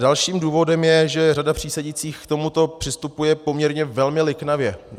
Dalším důvodem je, že řada přísedících k tomuto přistupuje poměrně velmi liknavě.